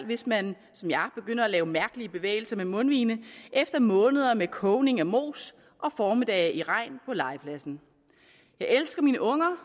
hvis man som jeg begynder at lave mærkelige bevægelser med mundvigene efter måneder med kogning af mos og formiddage i regn på legepladsen jeg elsker mine unger